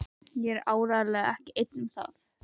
Og ég er áreiðanlega ekki einn um það.